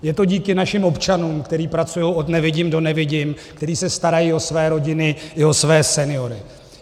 Je to díky našim občanům, kteří pracují od nevidím do nevidím, kteří se starají o své rodiny i o své seniory.